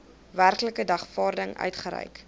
werklike dagvaarding uitgereik